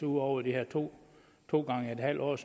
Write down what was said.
ud over de her to to gange et halvt års